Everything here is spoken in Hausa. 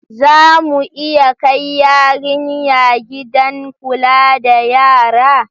Za mu iya kai yarinya gidan kula da yara?